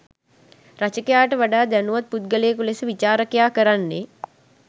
රචකයාට වඩා දැනුවත් පුද්ගලයකු ලෙස විචාරකයා කරන්නේ